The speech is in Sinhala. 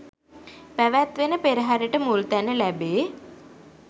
පැවැත්වෙන පෙරහරට මුල්තැන ලැබේ.